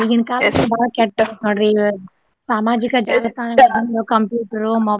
ಈಗಿನ್ ಬಾಳ ಕೆಟ್ಟ ನೋಡ್ರಿ ಈಗ ಸಾಮಾಜಿಕ ಜಾಲತಾಣ ಅಂದ್ರ computer, mobile .